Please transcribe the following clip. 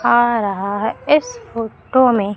आ रहा है इस फोटो में।